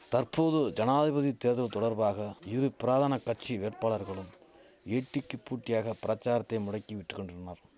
தற்போது ஜனாதிபதி தேர்தல் தொடர்பாக இரு பிராதன கட்சி வேட்பாளர்களும் ஏட்டிக்கு பூட்டியாக பிரசாரத்தை முடக்கி விட்டு கொண்டனர்